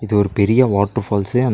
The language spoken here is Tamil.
இது ஒரு பெரிய வாட்ரூ ஃபால்ஸ்ஸு அந்த--